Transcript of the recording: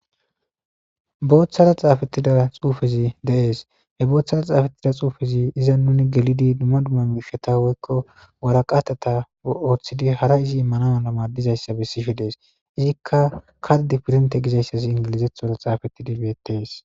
booththara xaafettida xuufezi de7es he booththara xaafettida xuufezi iza nuni gelidi dumma dumma mishata woykko waraqatata ooththidi hara izi immanaana maadizayssa bessishe dees izikka kaddi pirnte gizayssas ingilizethora xaafettidi beettes